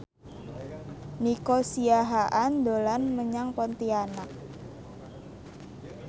Nico Siahaan dolan menyang Pontianak